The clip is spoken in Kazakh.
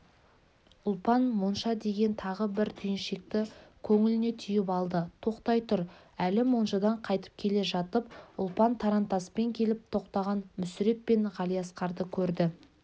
ұлпан монша деген тағы бір түйіншекті көңіліне түйіп алды тоқтай тұр әлі моншадан қайтып келе жатып ұлпан тарантаспен келіп тоқтаған мүсіреп пен ғалиасқарды көрді